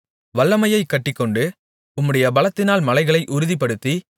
வல்லமையைக் கட்டிக்கொண்டு உம்முடைய பலத்தினால் மலைகளை உறுதிப்படுத்தி